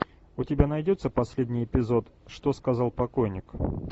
у тебя найдется последний эпизод что сказал покойник